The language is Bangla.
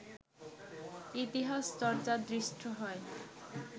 ইতিহাসচর্চা দৃষ্ট হয়